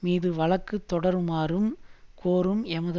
மீது வழக்கு தொடருமாறும் கோரும் எமது